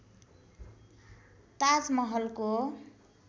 ताज महलको